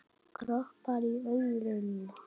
Kroppar í örðuna.